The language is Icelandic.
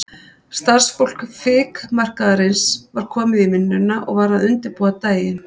Starfsfólk fikmarkaðarins var komið í vinnuna og var að undirbúa daginn.